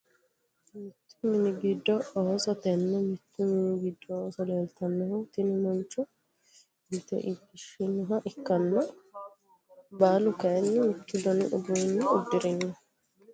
Mittu mini giddo ooso tene mittu mini giddi ooso leeltanonkehu tini mancho ilte iilishinoha ikkana baalu kayiini mittu dani uduune udirino.